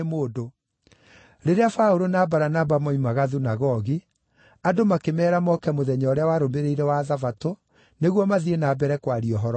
Rĩrĩa Paũlũ na Baranaba moimaga thunagogi, andũ makĩmeera moke mũthenya ũrĩa warũmĩrĩire wa Thabatũ nĩguo mathiĩ na mbere kwaria ũhoro ũcio.